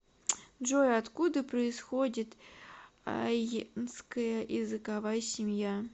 джой откуда происходит айнская языковая семья